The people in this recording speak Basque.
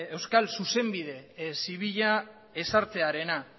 euskal zuzenbide zibila ezartzearena